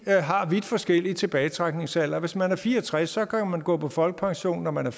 har vidt forskellig tilbagetrækningsalder hvis man er fire og tres år kan man gå på folkepension når man